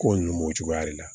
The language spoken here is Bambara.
Ko nunnu b'o cogoya de la